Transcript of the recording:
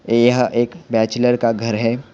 यह एक बैचलर का घर है।